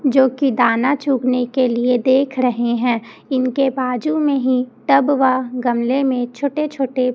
जो की दाना चुभने के लिए देख रहे हैं इनके बाजू में ही टब वह गमले में छोटे छोटे--